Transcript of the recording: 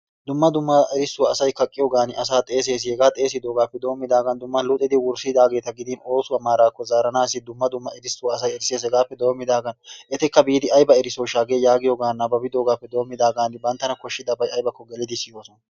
Dumma dumma erissuwaa asay kaaqqiyoogan asaa xeessees. Hegaa xeessidoogappe doommidagan dumma luxidi wurssidaageeta gidin oosuwa maarakko zaaranassi dumma dumma erisuwa asay erisses. Hegappe doommidaagan etikka biidi aybba erissoyshsha hagee giyoogan nababbiyoogappe doommidaagan banttana koshshidabay aybbakko gelidi siyoosona.